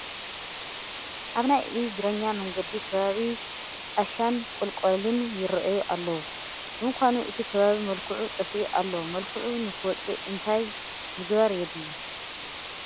ኣብ ናይ እግረኛ መንገዲ ከባቢ ጣሻን ቆሎንቋልን ይርአዩ ኣለዉ፡፡ ብምኳኑ እቲ ከባቢ መልክዑ ጠፊኡ ኣሎ፡፡ መልክዑ ንክወፅእ እንታይ ምግባር የድሊ?